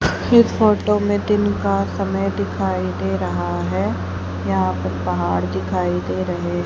इस फोटो में दिन का समय दिखाई दे रहा है यहां पर पहाड़ दिखाई दे रहे--